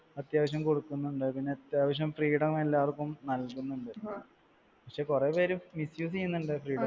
അത്യാവശ്യം കൊടുക്കുന്നുണ്ട്. അത്യാവശ്യം freedom എല്ലാവർക്കും നൽകുന്നുണ്ട്. പക്ഷെ കുറെ പേര് misuse യ്യുന്നുണ്ട് freedom